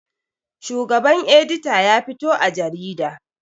Shugaban edita ya fito a jarida